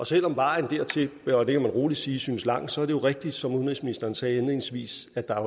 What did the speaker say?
selv om vejen dertil kan man roligt sige synes langt så er det jo rigtigt som udenrigsministeren sagde indledningsvis at der